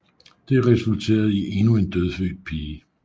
Det resulterede i endnu en dødfødt pige